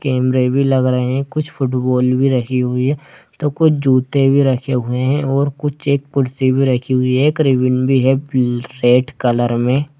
कैमरे भी लग रहे है कुछ फुटबॉल भी रखी हुई है तो कुछ जूते भी रखे हुए है और कुछ एक कुर्सी भी रखी हुई है एक रिबन भी है सेट कलर में।